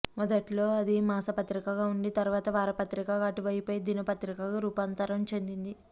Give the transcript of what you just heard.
మొదట్లో అది మాసపత్రికగా ఉండి తరువాత వార పత్రికగా అటుపై దినపత్రికగా రూపాంతరం చెందింది